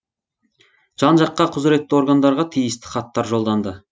жан жаққа құзіретті органдарға тиісті хаттар жолданды